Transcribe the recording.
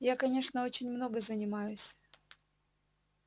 я конечно очень много занимаюсь